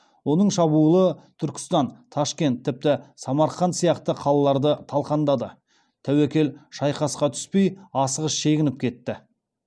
оның шабуылы түркістан ташкент тіпті самарқанд сияқты қалаларды талқандады тәуекел шайқасқа түспей асығыс шегініп кетті